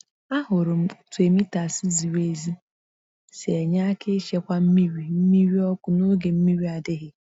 Ahụrụ m otú emitters ziri ezi si enye aka ichekwa mmiri mmiri ọkụ n’oge mmiri adịghị.